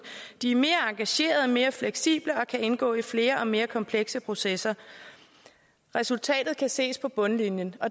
de er mere engagerede mere fleksible og kan indgå i flere og mere komplekse processer resultatet kan ses på bundlinjen